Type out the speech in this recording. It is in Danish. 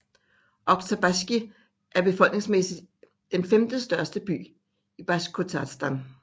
Oktjabrskij er befolningsmæssigt den femte største by i Basjkortostan